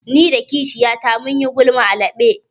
Ni da kishiyata mun yi gulma a falo.